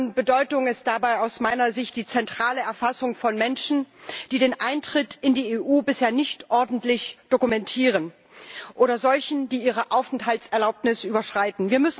Von Bedeutung ist dabei aus meiner Sicht die zentrale Erfassung von Menschen, die den Eintritt in die EU bisher nicht ordentlich dokumentieren, oder solchen, die ihre Aufenthaltserlaubnis überschreiten.